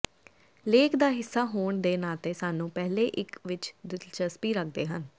ਲੇਖ ਦਾ ਹਿੱਸਾ ਹੋਣ ਦੇ ਨਾਤੇ ਸਾਨੂੰ ਪਹਿਲੇ ਇੱਕ ਵਿੱਚ ਦਿਲਚਸਪੀ ਰੱਖਦੇ ਹਨ